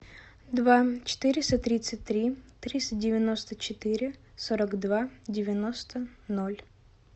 два четыреста тридцать три триста девяносто четыре сорок два девяносто ноль